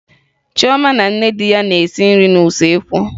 Choma na nne di ya na-esi nri n'usekwu